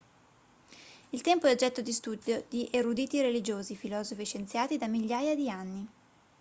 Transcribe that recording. il tempo è oggetto di studio di eruditi religiosi filosofi e scienziati da migliaia di anni